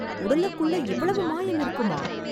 உடலுக்குள்ள இவ்வளவு மாயம் இருக்குமா!